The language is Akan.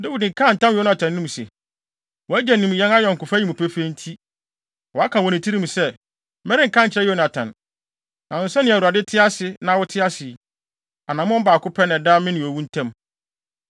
Dawid kaa ntam wɔ Yonatan anim se, “Wʼagya nim yɛn ayɔnkofa yi mu pefee nti, waka wɔ ne tirim se, ‘Merenka nkyerɛ Yonatan.’ Nanso sɛnea Awurade te ase na wote ase yi, anammɔn baako pɛ na ɛda me ne owu ntam.”